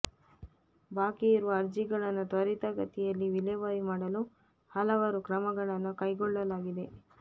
ಬಾಕಿ ಇರುವ ಅರ್ಜಿಗಳನ್ನು ತ್ವರಿತಗತಿಯಲ್ಲಿ ವಿಲೇವಾರಿ ಮಾಡಲು ಹಲವಾರು ಕ್ರಮಗಳನ್ನು ಕೈಗೊಳ್ಳಲಾಗಿದೆ